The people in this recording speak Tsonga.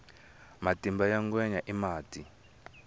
matimba ya ngwenya i mati